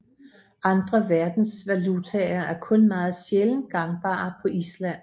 Andre verdensvalutaer er kun meget sjældent gangbare på Island